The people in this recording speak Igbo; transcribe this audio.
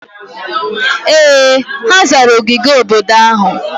Ee! Ha zara ogige obodo ahụ.